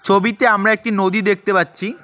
ছবিতে আমরা একটি নদী দেখতে পাচ্ছি।